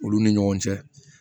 Olu ni ɲɔgɔn cɛ